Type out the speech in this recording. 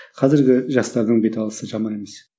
қазіргі жастардың беталысы жаман емес